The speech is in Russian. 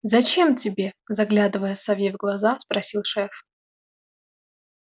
зачем тебе заглядывая сове в глаза спросил шеф